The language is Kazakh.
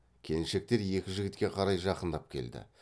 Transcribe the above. келіншектер екі жігітке қарай жақындап келді